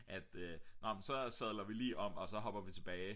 at nå men så sadler vi lige om og så hopper vi tilbage